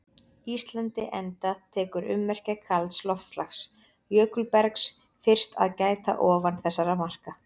Íslandi enda tekur ummerkja kalds loftslags- jökulbergs- fyrst að gæta ofan þessara marka.